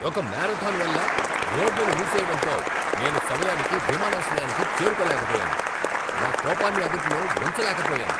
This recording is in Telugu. ఒక మారథాన్ వల్ల రోడ్లను మూసేయడంతో నేను సమయానికి విమానాశ్రయానికి చేరుకోలేకపోయాను, నా కోపాన్ని అదుపులో ఉంచలేకపోయాను.